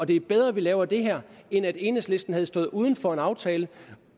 det er bedre at de laver det her end at enhedslisten havde stået uden for en aftale